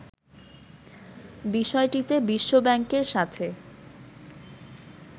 বিষয়টিতে বিশ্ব ব্যাংকের সাথে